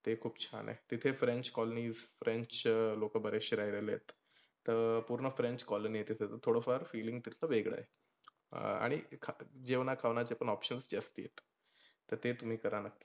ते खुप छान आहे. ते French colony, French लोक बरेचशे राहीलेले आहेत. तर पुर्ण french colony आहे तीथ थोडफार feeling तर वेगळ आहे. अं आणि जेवणा खावनाचे options जास्ती आहे. तर ते तुम्ही करा नक्की.